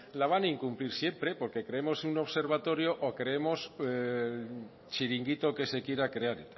la van a incumplir siempre creemos un observatorio o creemos el chiringuito que se quiera crear